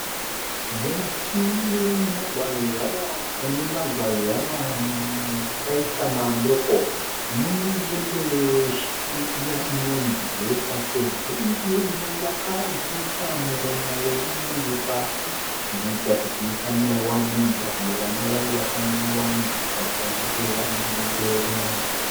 Muti wemugwayava, une magwayava akaita madoko mune dendere reshiri iya inonzi Jesa, sezvo iriyo inovaka ndendere ichiisa muromo we'd endure pasi zvinoita kuti isa naiwa nemvura kana vana vayo vasanaiwa nemvura vachinge vari mudendere mayo umu. Vasanaiwa nemvura vachinge vari mudendere umu.